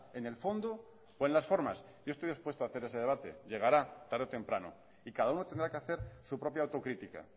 en el fondo o en las formas yo estoy dispuesto a hacer ese debate llegará tarde o temprano y cada uno tendrá que hacer su propia autocrítica